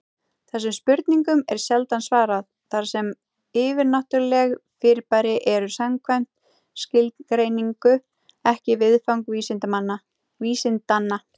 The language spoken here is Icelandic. Þessum spurningum er sjaldan svarað, þar sem yfirnáttúruleg fyrirbæri eru samkvæmt skilgreiningu ekki viðfang vísindanna.